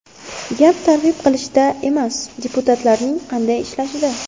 Gap targ‘ib qilishda emas, deputatlarning qanday ishlashida.